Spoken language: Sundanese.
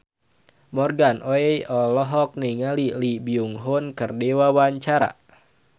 Morgan Oey olohok ningali Lee Byung Hun keur diwawancara